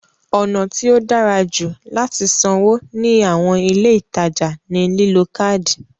Ọ̀nà tí ó dára jù láti sanwó ní àwọn ilé ìtajà ní lílo káádì.